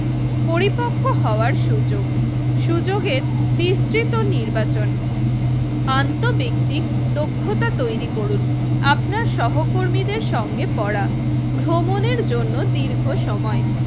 পরিপক্ক হওয়ার সুযোগ সুযোগের বিস্তৃত নির্বাচন আন্ত ব্যক্তিক দক্ষতা তৈরি করুন। আপনার সহকর্মীদের সঙ্গে পড়া ভ্রমনের জন্য দীর্ঘ সময়।